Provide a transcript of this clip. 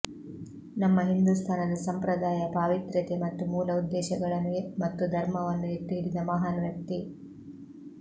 ನಮ್ಮ ಹಿಂದೂಸ್ಥಾನದ ಸಂಪ್ರದಾಯ ಪಾವಿತ್ರ್ಯತೆ ಮತ್ತು ಮೂಲಉದ್ದೇಶಗಳನ್ನು ಮತ್ತು ಧರ್ಮವನ್ನು ಎತ್ತಿ ಹಿಡಿದ ಮಹಾನ್ ವ್ಯಕ್ತಿ